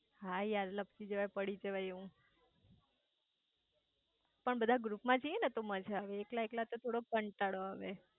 હા યાર લાપસી જવાય પડી જવાય એવું પણ બધા ગ્રુપ માં જઇયે તો માંજ આવે એકલા એકલા તો થોડો ક્નટાડો આવે